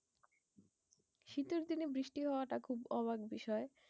শীতের দিনে বৃষ্টি হওয়াটা খুব অবাক বিষয়।